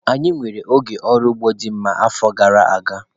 Anyị nwere oge ọrụ ugbo dị mma n'afọ gara aga.